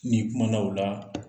N'i kumana o la